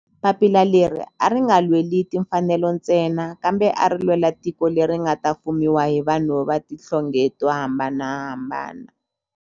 Papila leri a ri nga lweli timfanelo ntsena kambe ari lwela tiko leri nga ta fumiwa hi vanhu va tihlonge to hambanahambana.